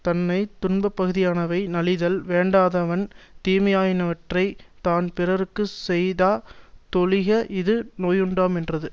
தன்னை துன்பப்பகுதியானவை நலிதல் வேண்டாதவன் தீமையாயினவற்றைத் தான் பிறர்க்கு செய்தா தொழிக இது நோயுண்டாமென்றது